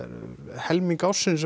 helming ársins